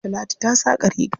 Talatu ta saƙa riga.